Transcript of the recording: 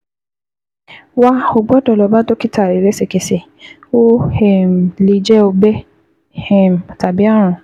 wà, o gbọ́dọ̀ lọ bá dókítà rẹ lẹ́sẹ̀kẹsẹ̀, ó um lè jẹ́ ọgbẹ́ um tàbí ààrùn